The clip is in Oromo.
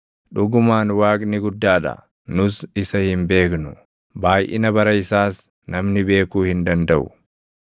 Dhugumaan Waaqni guddaa dha; nus isa hin beeknu; baayʼina bara isaas namni beekuu hin dandaʼu.